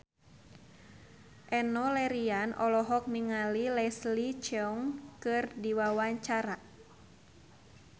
Enno Lerian olohok ningali Leslie Cheung keur diwawancara